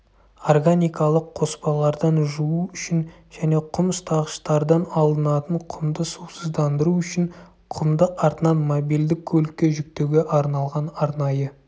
органикалық қоспалардан жуу үшін және құм ұстағыштардан алынатын құмды сусыздандыру үшін құмды артынан мобилді көлікке жүктеуге арналған арнайы